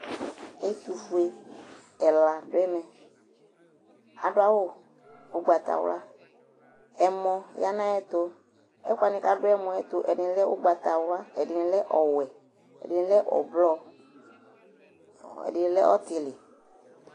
Ɛtʋfue ɛla dʋ ɛmɛ adʋ awʋ ʋgbatawla Ɛmɔ ya nʋ ayɛtʋ, ɛkʋ wanɩ kʋ adʋ ɛmɔ yɛ tʋ, ɛdɩnɩ lɛ ʋgbatawla, ɛdɩnɩ ɔwɛ, ɛdɩnɩ ʋblɔ, ɛdɩnɩ lɛ ɔtɩlɩ